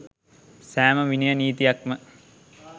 සෑම විනය නීතියක් ම